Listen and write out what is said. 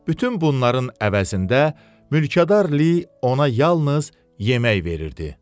Bütün bunların əvəzində mülkədar Li ona yalnız yemək verirdi.